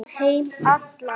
Um heim allan.